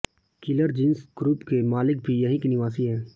killer jeans group के मालिक भी यहीं के निवासी है